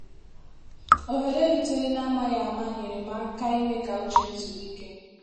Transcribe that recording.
Òhèrè rútèrè n’amaghị ama nyeèrè m aka ime ka ùchè m zuru ike